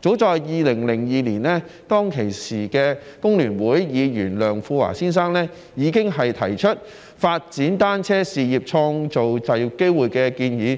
早在2002年，當時工聯會的前立法會議員梁富華先生已經提出"發展單車事業，創造就業機會"的建議，